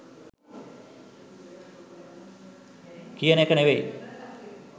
කියන එක නෙවෙයි.